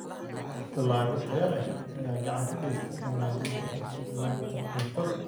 Dalagyo tayo leh ayaa gacan ka geysta wanaajinta sugnaanta cuntada.